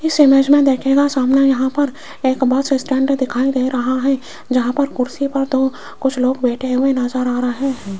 इस इमेज मे देखियेगा सामने यहां पर एक बस स्टैंड भी दिखाई दे रहा है जहां पर कुर्सी पर दो कुछ लोग बैठे हुए नज़र आ रहे है।